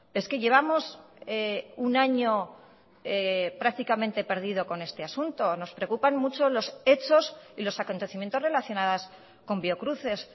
es que llevamos un año prácticamente perdido con este asunto nos preocupan mucho los hechos y los acontecimientos relacionadas con biocruces